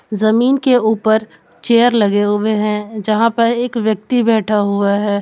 जमीन के ऊपर चेयर लगे हुए हैं यहां पर एक व्यक्ति बैठा हुआ है।